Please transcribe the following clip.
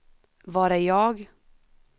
var är jag